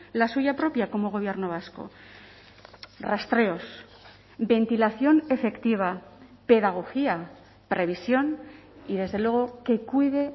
la suya propia como gobierno vasco rastreos ventilación efectiva pedagogía previsión y desde luego que cuide